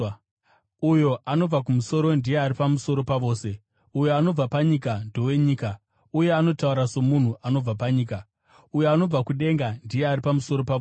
“Uyo anobva kumusoro ndiye ari pamusoro pavose; uyo anobva panyika ndowenyika, uye anotaura somunhu anobva panyika. Uyo anobva kudenga ndiye ari pamusoro pavose.